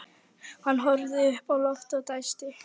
Hann horfði upp í loftið og dæsti.